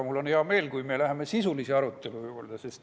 Mul on hea meel, kui me läheme sisulise arutelu juurde.